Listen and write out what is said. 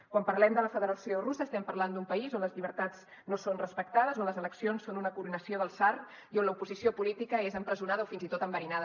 quan parlem de la federació russa estem parlant d’un país on les llibertats no són respectades on les eleccions són una coronació del tsar i on l’oposició política és empresonada o fins i tot enverinada